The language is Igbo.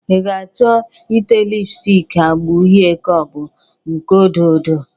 I ga-achọ ite lipstik agba uhe ka ọ bụ nke odo odo?